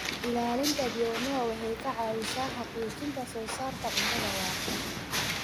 Ilaalinta bioanuwa waxay ka caawisaa xaqiijinta soo saarista cuntada waarta.